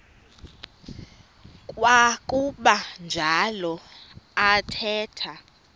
kwakuba njalo athetha